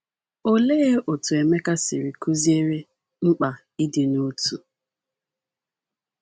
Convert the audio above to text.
Olee otú Emeka siri kụziere mkpa ịdị n’otu?